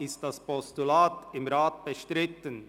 Ist das Postulat im Rat bestritten?